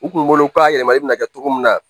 U kunkolo ka yɛlɛma i bɛna kɛ cogo min na